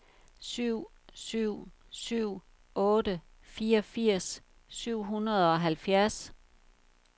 syv syv syv otte fireogfirs syv hundrede og halvfjerds